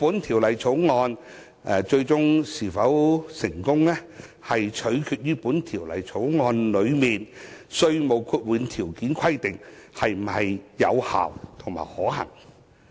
《條例草案》的最終成效，取決於《條例草案》內的稅務豁免條件規定是否有效及可行。